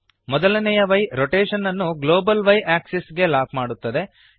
ಮೊದಲನೆಯ y rotation ಅನ್ನು global y axis ಗೆ ಲಾಕ್ ಮಾಡುತ್ತದೆ